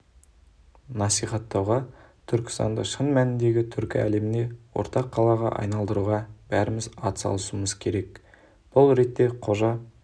насихаттауға түркістанды шын мәніндегі түркі әлеміне ортақ қалаға айналдыруға бәріміз атсалысуымыз керек бұл ретте қожа